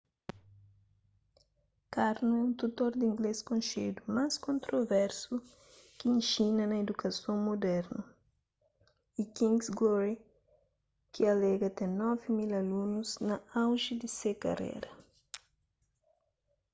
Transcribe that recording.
karno é un tutor di inglês konxedu mas kontroversu ki inxina na idukason mudernu y king's glory ki alega ten 9.000 alunus na auji di se karera